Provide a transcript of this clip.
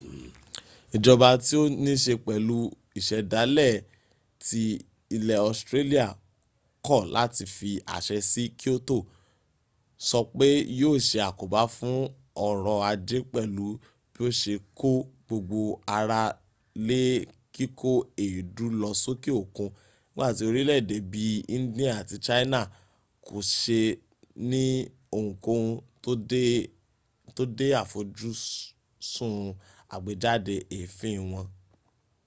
ìjọba tí ó nííse pẹ̀lú ìsẹ̀dálẹ̀ ti ilẹ̀ australia kọ̀ láti fi àṣẹ si kyoto sọ pé yíò se àkóbá fún ọrọ̀ ajé pẹ̀lú bí ó se kó gbogbo ara lé kíkó èédú lọ sókè òkun nígbàtí orílẹ̀èdè bí i india àti china kò se ní ohunkóhun tó de àfojúsùn àgbéjáde èéfín wọn